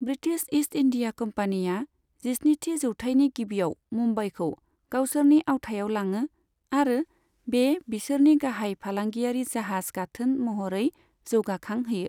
British East India कम्पानीआ जिस्निथि जौथाइनि गिबिआव मुम्बाईखौ गावसोरनि आवथायाव लाङो आरो बे बिसोरनि गाहाय फालाङियारि जाहाज गाथोन महरै जौगाखांहोयो।